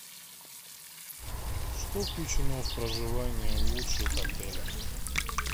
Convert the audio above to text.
что включено в проживание в лучших отелях